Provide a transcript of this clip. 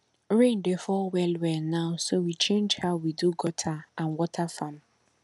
rain dey fall well well now so we change how we do gutter and water farm